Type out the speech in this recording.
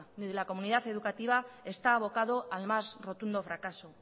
ni de la comunidad educativa está abocado al más rotundo fracaso